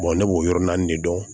ne b'o yɔrɔ naani de dɔn